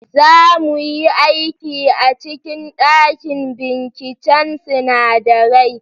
Za mu yi aiki a cikin dakin binciken sinadarai.